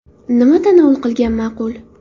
Nima tanovul qilgan ma’qul?